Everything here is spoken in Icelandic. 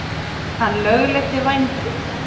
hann lögleiddi vændi